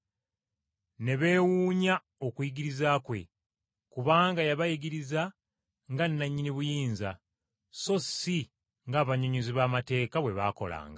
Ne beewuunya okuyigiriza kwe, kubanga yabayigiriza nga nannyini buyinza, so si ng’abannyonnyozi b’amateeka bwe baakolanga.